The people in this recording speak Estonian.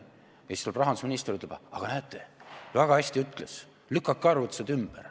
Siis tuleb rahandusminister ja ütleb: aga näete, väga hästi ütles, lükkas arvutused ümber.